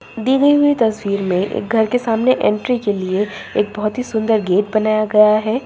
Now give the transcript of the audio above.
दी गई हुई तस्वीर में एक घर के सामने एंट्री के लिए एक बहुत ही सुंदर गेट बनाया गया है।